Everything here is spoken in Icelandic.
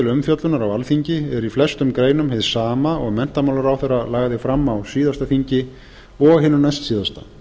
umfjöllunar á alþingi er í flestum greinum hið sama og menntamálaráðherra lagði fram á síðasta þingi og hinu næstsíðasta